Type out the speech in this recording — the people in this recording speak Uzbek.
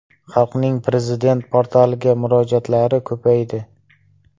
Xalqning Prezident portaliga murojaatlari ko‘paydi.